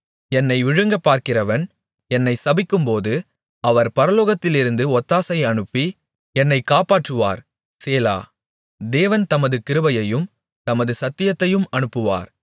என்னை விழுங்கப்பார்க்கிறவன் என்னை சபிக்கும்போது அவர் பரலோகத்திலிருந்து ஒத்தாசை அனுப்பி என்னைக் காப்பாற்றுவார் சேலா தேவன் தமது கிருபையையும் தமது சத்தியத்தையும் அனுப்புவார்